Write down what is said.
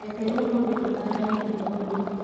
Reke ũmũthĩ tutaarane ũhoro ũyũ